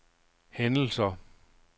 hændelser